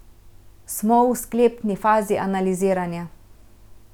Smo v sklepni fazi analiziranja.